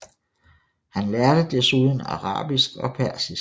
Han lærte desuden arabisk og persisk